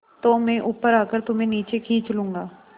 तो मैं ऊपर आकर तुम्हें नीचे खींच लूँगा